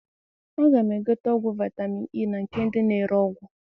A ga m egote ọgwụ vitamin E na nke ndị na ere ọgwụ